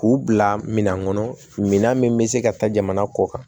K'u bila minan kɔnɔ minan min bɛ se ka taa jamana kɔ kan